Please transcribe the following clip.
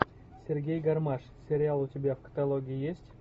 сергей гармаш сериал у тебя в каталоге есть